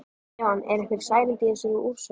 Jóhann: Eru einhver særindi í þessari úrsögn?